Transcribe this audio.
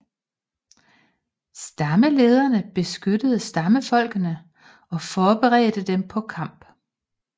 Stammelederne beskyttede stammefolkene og forberedte dem på kamp